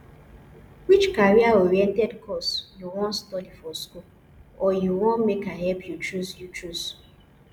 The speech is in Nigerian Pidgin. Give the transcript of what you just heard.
which career oriented course you wan study for school or you want make i help you choose you choose